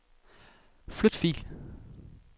Flyt fil.